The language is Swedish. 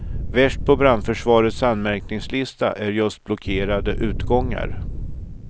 Värst på brandförsvarets anmärkningslista är just blockerade utgångar.